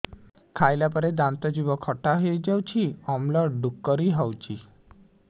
ଖାଇଲା ପରେ ଦାନ୍ତ ଜିଭ ଖଟା ହେଇଯାଉଛି ଅମ୍ଳ ଡ଼ୁକରି ହଉଛି